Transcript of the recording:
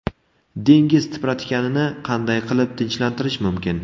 Dengiz tipratikanini qanday qilib tinchlantirish mumkin?